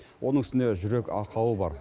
оның үстіне жүрек ақауы бар